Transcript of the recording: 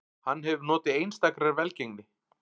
Hann hefur notið einstakrar velgengni